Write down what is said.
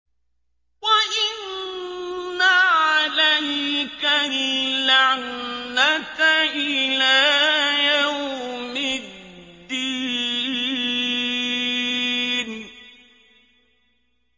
وَإِنَّ عَلَيْكَ اللَّعْنَةَ إِلَىٰ يَوْمِ الدِّينِ